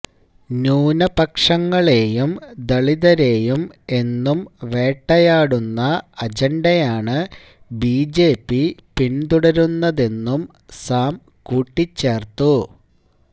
ന്യൂനപക്ഷങ്ങളെയും ദളിതരെയും എന്നും വേട്ടയാടുന്ന അജണ്ടയാണ് ബിജെപി പിന്തുടരുന്നതെന്നും സാം കൂട്ടിച്ചേര്ത്തു